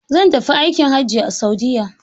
Zan tafi aikin hajji a Saudiyya.